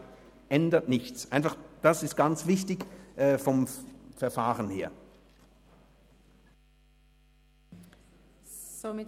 Also, es ändert nichts, das ist vom Verfahren her ganz wichtig.